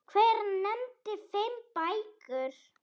Hver nefndi fimm bækur.